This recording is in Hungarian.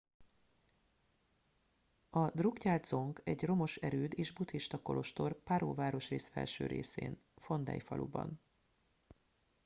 a drukgyal dzong egy romos erőd és buddhista kolostor paro városrész felső részén phondey faluban